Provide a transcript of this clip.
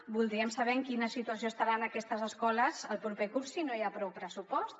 voldríem saber en quina situació estaran aquestes escoles el proper curs si no hi ha prou pressupost